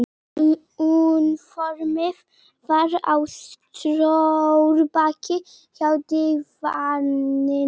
Úniformið var á stólbaki hjá dívaninum.